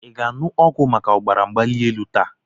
Ị ga-aṅụ ọgwụ maka ọbara mgbali elu taa?